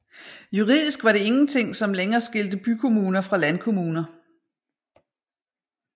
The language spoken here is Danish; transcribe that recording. Juridisk var det ingenting som lenger skilte bykommuner fra landkommuner